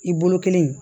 I bolo kelen